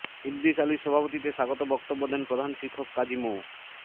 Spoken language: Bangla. ইদ্রিস আলীর সভাপতিত্বে স্বাগত বক্তব্য দেন প্রধান শিক্ষক কাজী মো